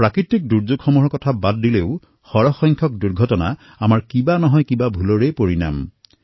প্ৰাকৃতিক দুৰ্যোগসমূহৰ বাবে অধিকতৰ দুৰ্ঘটনাসমূহেই আমাৰ কিবা কাৰণত কৰা ভুলৰ পৰিণাম হয়